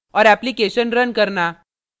और application run करना